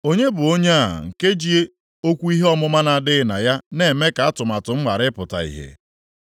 “Onye bụ onye a nke ji okwu ihe ọmụma na-adịghị na ya na-eme ka atụmatụ m ghara ịpụta ìhè?